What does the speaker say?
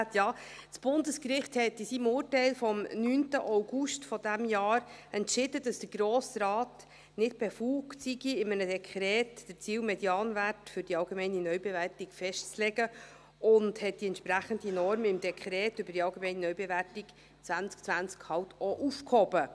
Ja, das Bundesgericht hat in seinem Urteil vom 9. August dieses Jahres entschieden, dass der Grosse Rat nicht befugt sei, in einem Dekret den Ziel-Medianwert für die allgemeine Neubewertung festzulegen, und hat die entsprechende Norm im AND aufgehoben.